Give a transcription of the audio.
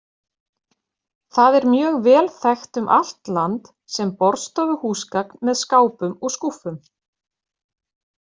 Það er mjög vel þekkt um allt land sem borðstofuhúsgagn með skápum og skúffum.